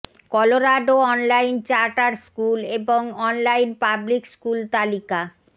Colorado online charter school এবং online public school তালিকা